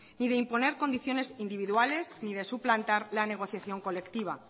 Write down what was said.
y de imponer condiciones individuales ni de suplantar la negociación colectiva